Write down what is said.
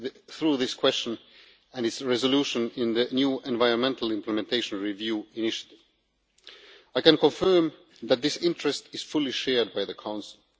through this question and its resolution, in the new environmental implementation review initiative. I can confirm that this interest is fully shared by the Council.